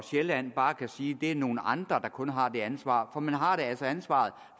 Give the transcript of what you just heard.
sjælland bare kan sige at det er nogle andre der kun har det ansvar for man har altså ansvaret